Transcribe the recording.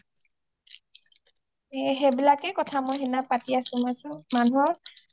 এই সেইবিলাক এ কথা মই হেইনা পাতি আছো মই কৈছো মানুহৰ